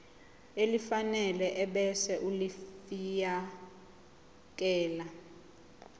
elifanele ebese ulifiakela